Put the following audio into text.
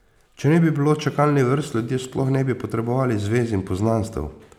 Če ne bi bilo čakalnih vrst, ljudje sploh ne bi potrebovali zvez in poznanstev.